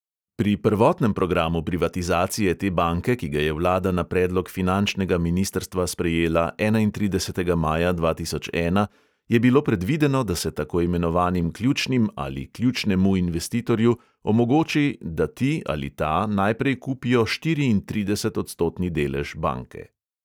Pri prvotnem programu privatizacije te banke, ki ga je vlada na predlog finančnega ministrstva sprejela enaintridesetega maja dva tisoč ena, je bilo predvideno, da se tako imenovanim ključnim ali ključnemu investitorju omogoči, da ti ali ta najprej kupijo štiriintridesetodstotni delež banke.